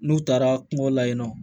N'u taara kungo la yen nɔ